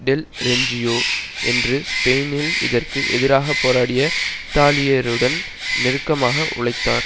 del Renzio என்று ஸ்பெயினில் இதற்கு எதிராக போராடிய இத்தாலியருடன் நெருக்கமாக உழைத்தார்